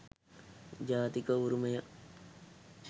ජාතික උරුමය